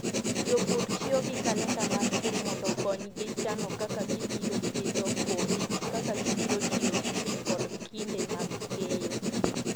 Jopur tiyo gi kalenda mar pur mondo okonygi chano kaka gibiro pidho kodhi, kaka gibiro tiyo gi pi, kod kinde mag keyo.